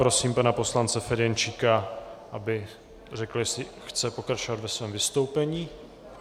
Prosím pana poslance Ferjenčíka, aby řekl, jestli chce pokračovat ve svém vystoupení.